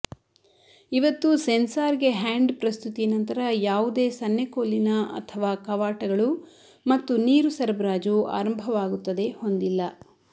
ಇದು ಸೆನ್ಸಾರ್ಗೆ ಹ್ಯಾಂಡ್ ಪ್ರಸ್ತುತಿ ನಂತರ ಯಾವುದೇ ಸನ್ನೆಕೋಲಿನ ಅಥವಾ ಕವಾಟಗಳು ಮತ್ತು ನೀರು ಸರಬರಾಜು ಆರಂಭವಾಗುತ್ತದೆ ಹೊಂದಿಲ್ಲ